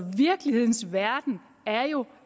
virkelighedens verden er jo